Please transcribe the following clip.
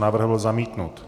Návrh byl zamítnut.